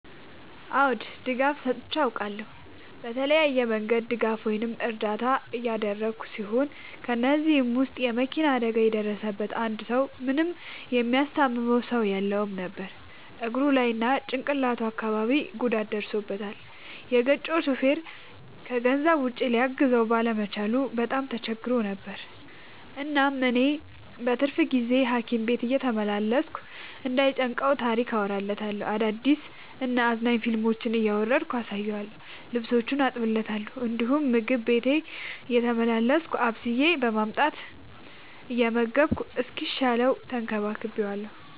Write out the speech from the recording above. አዎ ድጋፍ ሰጥቼ አውቃለሁ። በተለያየ መንገድ ድጋፍ ወይም እርዳታ ያደረግሁ ሲሆን ከ እነዚህም ውስጥ የ መኪና አደጋ የደረሠበትን አንድ ሰው ምንም የሚያስታምመው ሰው የለውም ነበር እግሩ ላይ እና ጭቅላቱ አካባቢ ጉዳት ደርሶበታል። የገጨው ሹፌርም ከገንዘብ ውጪ ሊያግዘው ባለመቻሉ በጣም ተቸግሮ ነበር። እናም እኔ በትርፍ ጊዜዬ ሀኪም ቤት እየተመላለስኩ እንዳይ ጨንቀው ታሪክ አወራለታለሁ፤ አዳዲስ እና አዝናኝ ፊልሞችን እያወረድኩ አሳየዋለሁ። ልብሶቹን አጥብለታለሁ እንዲሁም ምግብ ቤቴ እየተመላለስኩ አብስዬ በማምጣት እየመገብኩ እስኪሻለው ተንከባክቤዋለሁ።